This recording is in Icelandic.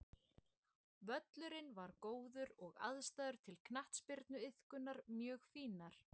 Völlurinn var góður og aðstæður til knattspyrnuiðkunar mjög fínar.